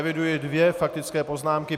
Eviduji dvě faktické poznámky.